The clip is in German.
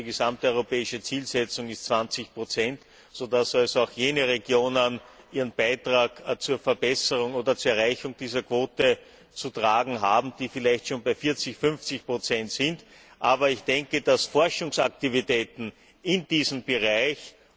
Die gesamteuropäische Zielsetzung ist 20 sodass also auch jene Regionen ihren Beitrag zur Verbesserung oder zur Erreichung dieser Quote zu tragen haben, die vielleicht schon bei 40 oder 50 sind. Aber ich denke, dass Forschungsaktivitäten in diesem Bereich beim